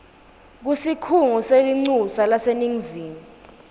kusikhungo selincusa laseningizimu